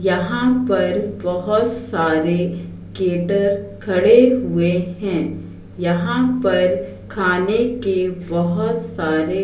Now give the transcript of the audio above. यहां पर बहोत खड़े हुए हैं यहां पर खाने के बहोत सारे--